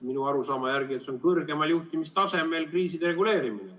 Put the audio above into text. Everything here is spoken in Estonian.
Minu arusaama järgi see on kõrgemal juhtimistasemel kriiside reguleerimine.